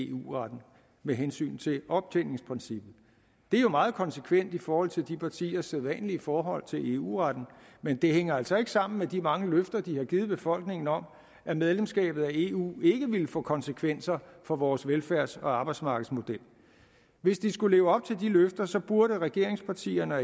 eu retten med hensyn til optjeningsprincippet det er jo meget konsekvent i forhold til de partiers sædvanlige forhold til eu retten men det hænger altså ikke sammen med de mange løfter de har givet befolkningen om at medlemskabet af eu ikke ville få konsekvenser for vores velfærds og arbejdsmarkedsmodel hvis de skulle leve op til de løfter burde regeringspartierne og